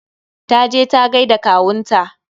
Ta je ta gaida da kawunta.